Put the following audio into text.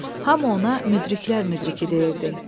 Hamı ona müdriklər müdriki deyirdi.